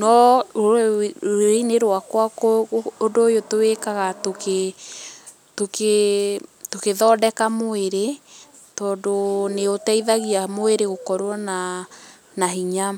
no rũrĩrĩ-inĩ rwakwa ũndũ ũyũ tũwĩkaga tũkĩ tũkĩ tũgĩthondeka mwĩrĩ, tondũ nĩ ũteithagia mwĩrĩ gũkorwo na hinya.